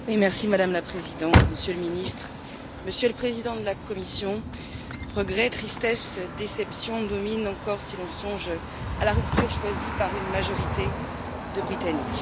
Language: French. Madame la Présidente, Monsieur le Ministre, Monsieur le Président de la Commission, regrets, tristesse et déception dominent encore si l'on songe à la rupture choisie par une majorité de Britanniques.